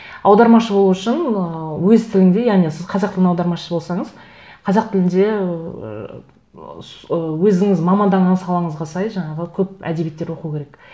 аудармашы болу үшін ыыы өз тіліңде яғни сіз қазақ тілінің аудармашысы болсаңыз қазақ тілінде ыыы ыыы өзіңіз маманданған салаңызға сай жаңағы көп әдебиеттер оқу керек